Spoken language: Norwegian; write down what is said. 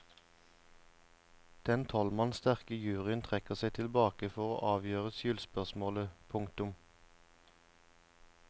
Den tolv mann sterke juryen trekker seg tilbake for å avgjøre skyldspørsmålet. punktum